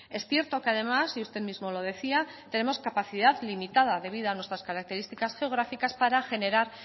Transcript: es cierto que además y usted mismo lo decía tenemos capacidad limitada debido a nuestras características geográficas para generar